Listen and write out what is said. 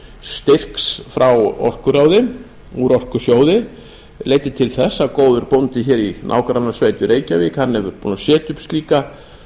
styrks frá orkuráði úr orkusjóði leiddi til þess að góður bóndi í nágrannasveit í reykjavík er búinn að setja upp slíka